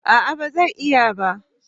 A'a ba zai iya ba